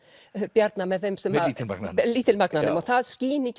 Bjarna með þeim sem að með lítilmagnanum með lítilmagnanum og það skín í